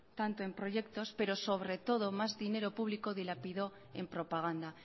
tanto en proyectos pero sobre todo más dinero público dilapidó en propaganda